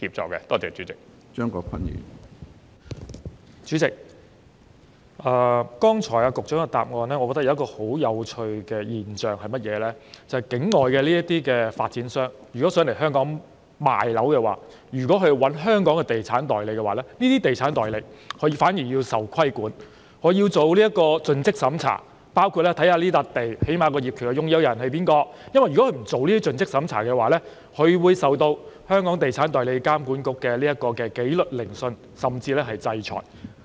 主席，我覺得局長剛才的主體答覆提及一個很有趣的現象，就是有意來港銷售樓宇的境外發展商如聘用香港的地產代理，這些地產代理反而要受規管，須進行盡職審查，最低限度要查看誰是這幅地的業權擁有人，如果不進行盡職審查，他便須接受監管局的紀律聆訊甚至制裁。